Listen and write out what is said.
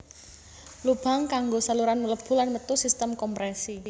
Lubang kanggo saluran mlebu lan metu sistem komprèsi